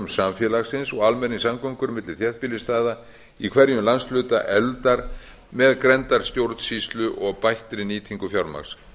samfélagsins og almenningssamgöngur milli þéttbýlisstaða í hverjum landshluta efldar með grenndarstjórnsýslu og bættri nýtingu fjármagns